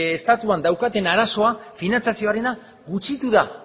estatuan daukaten arazoa finantziazioarena gutxitu da